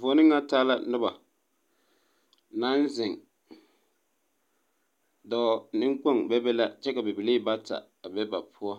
Voɔni nga taa la nuba nang zeng doɔ ninkpong bebe la kye ka bibilii bata a be ba poɔ